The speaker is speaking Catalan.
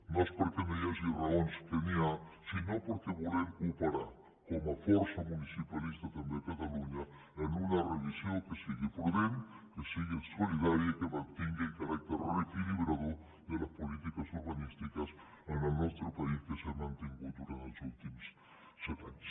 no és perquè no hi hagi raons que n’hi ha sinó perquè volem cooperar com a força municipalista també a catalunya en una revisió que sigui prudent que sigui solidària i que mantingui el caràcter reequilibrador de les polítiques urbanístiques en el nostre país que s’han mantingut durant els últims set anys